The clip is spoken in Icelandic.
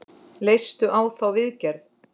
Leistu á þá viðgerð?